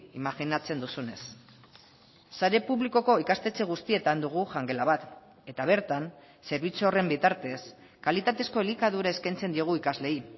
imajinatzen duzunez sare publikoko ikastetxe guztietan dugu jangela bat eta bertan zerbitzu horren bitartez kalitatezko elikadura eskaintzen diogu ikasleei